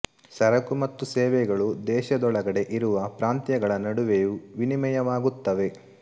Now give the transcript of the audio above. ಸರಕು ಮತ್ತು ಸೇವೆಗಳು ದೇಶದೊಳಗಡೆ ಇರುವ ಪ್ರಾಂತ್ಯಗಳ ನಡುವೆಯೂ ವಿನಿಮಯವಾಗುತ್ತವೆ